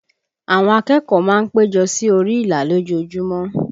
Àwọn akẹ́kọ̀ọ́ má ń péjọ sí orí ìlà lójoojúmọ́